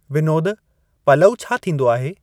विनोद पलउ छा थींदो आहे?